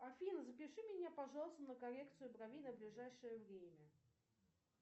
афина запиши меня пожалуйста на коррекцию бровей на ближайшее время